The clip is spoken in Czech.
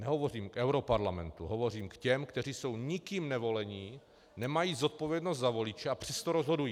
Nehovořím o europarlamentu, hovořím k těm, kteří jsou nikým nevoleni, nemají zodpovědnost za voliče, a přesto rozhodují.